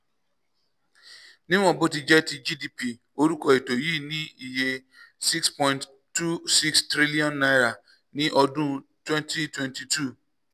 níwọ̀n bó ti jẹ́ ti gdp orúkọ ètò yìí ní iye six point six two six trillion naira ní ọdún twenty twenty two.